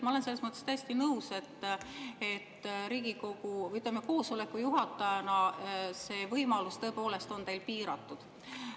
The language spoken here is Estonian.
Ma olen selles mõttes täiesti nõus, et Riigikogu, või ütleme, koosoleku juhatajana on see võimalus teil tõepoolest piiratud.